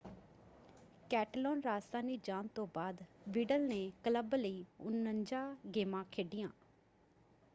ਕੈਟਲਾਨ-ਰਾਜਧਾਨੀ ਜਾਣ ਤੋਂ ਬਾਅਦ ਵਿਡਲ ਨੇ ਕਲੱਬ ਲਈ 49 ਗੇਮਾਂ ਖੇਡੀਆਂ।